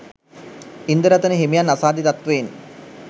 ඉන්දරතන හිමියන් අසාධ්‍ය තත්ත්වයෙන්